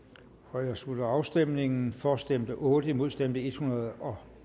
her slutter afstemningen for stemte otte imod stemte en hundrede og